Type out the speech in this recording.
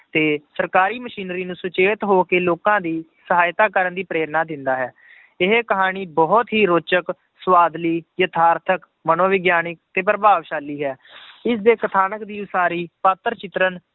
ਤੇ ਸਰਕਾਰੀ ਮਸ਼ੀਨਰੀ ਨੂੰ ਸੁਚੇਤ ਹੋ ਕੇ ਲੋਕਾਂ ਦੀ ਸਹਾਇਤਾ ਕਰਨ ਦੀ ਪ੍ਰੇਰਨਾ ਦਿੰਦਾ ਹੈ ਇਹ ਕਹਾਣੀ ਬਹੁਤ ਹੀ ਰੋਚਕ ਸਵਾਦਲੀ, ਯਥਾਰਥਕ ਮਨੋਵਿਗਿਆਨਕ ਤੇ ਪ੍ਰਭਾਵਸ਼ਾਲੀ ਹੈ ਇਸਦੇ ਕਥਾਨਕ ਦੀ ਉਸਾਰੀ ਪਾਤਰ ਚਿਤਰਨ